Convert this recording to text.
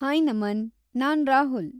Hi Naman! ನಾನ್ ರಾಹುಲ್‌.